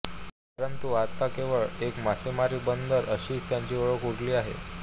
परंतु आता केवळ एक मासेमारी बंदर अशीच त्याची ओळख उरली आहे